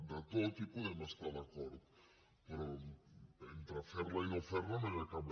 en tot hi podem estar d’acord però entre fer la i no fer la no hi ha cap